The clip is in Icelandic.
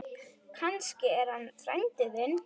Kannski er hann frændi þinn.